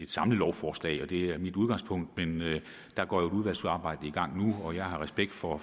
samlet lovforslag og at det er mit udgangspunkt men der går jo et udvalgsarbejde i gang nu og jeg har respekt for